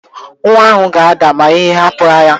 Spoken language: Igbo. Nwa ahụ ga-ada ma ị hapụ ya